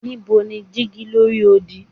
Nibo ni digi lori odi